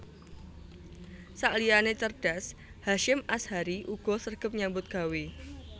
Sakliyane cerdas Hasyim Asyhari uga sregep nyambut gawe